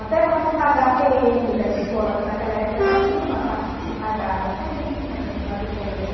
Até para não pagar da escola, que naquela época já tinha uma taxa que se pagava, também tinha atestado de pobreza.